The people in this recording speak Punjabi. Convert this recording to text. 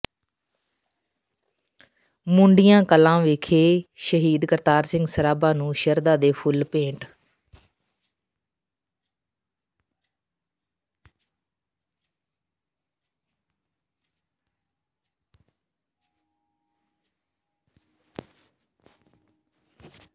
ਮੂੰਡੀਆਂ ਕਲਾਂ ਵਿਖੇ ਸ਼ਹੀਦ ਕਰਤਾਰ ਸਿੰਘ ਸਰਾਭਾ ਨੂੰ ਸ਼ਰਧਾ ਦੇ ਫੁੱਲ ਭੇਟ